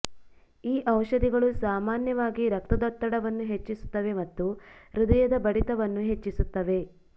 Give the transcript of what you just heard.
ಈ ಔಷಧಿಗಳು ಸಾಮಾನ್ಯವಾಗಿ ರಕ್ತದೊತ್ತಡವನ್ನು ಹೆಚ್ಚಿಸುತ್ತವೆ ಮತ್ತು ಹೃದಯದ ಬಡಿತವನ್ನು ಹೆಚ್ಚಿಸುತ್ತವೆ